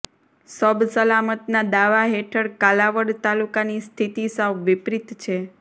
સબ સલામતના દાવા હેઠળ કાલાવડ તાલુકાની સ્થિતિ સાવ વિપરીત છે